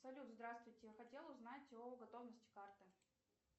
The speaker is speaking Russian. салют здравствуйте хотела узнать о готовности карты